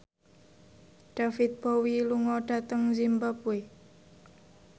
David Bowie lunga dhateng zimbabwe